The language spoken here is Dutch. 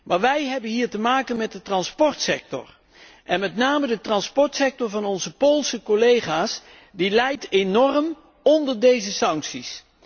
Maar wij hebben hier te maken met de transportsector en met name de transportsector van onze Poolse collega's lijdt enorm onder deze sancties.